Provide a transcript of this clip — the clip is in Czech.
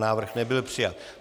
Návrh nebyl přijat.